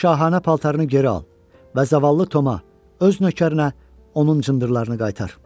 öz şahanə paltarını geri al və zavallı Toma, öz nökərinə onun cındırlarını qaytar.